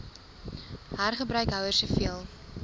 hergebruik houers soveel